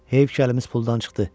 Heyf ki, əlimiz puldan çıxdı.